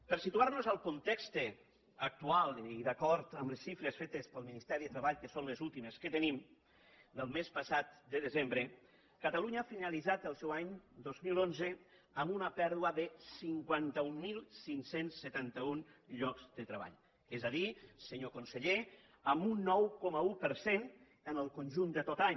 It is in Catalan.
per situar nos en el context actual i d’acord amb les xifres fetes pel ministeri de treball que són les últimes que tenim del mes passat de desembre catalunya ha finalitzat el seu any dos mil onze amb una pèrdua de cinquanta mil cinc cents i setanta un llocs de treball és a dir senyor conseller amb un nou coma un per cent en el conjunt de tot l’any